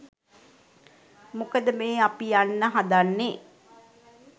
මොකද මේ අපි යන්න හදන්නේ